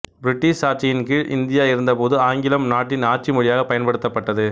British ஆட்சியின் கீழ் India இருந்த போது ஆங்கிலம் நாட்டின் ஆட்சிமொழியாக பயன்படுத்தப்பட்டது